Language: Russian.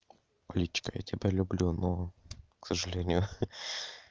кличка я тебя люблю но к сожалению хы